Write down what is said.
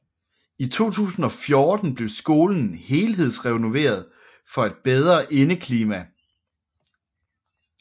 I 2014 blev skolen helhedsrenoveret for et bedre indeklima